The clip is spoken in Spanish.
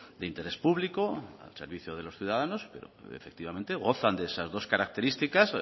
de interés público al servicio de los ciudadanos pero efectivamente gozan de esas dos características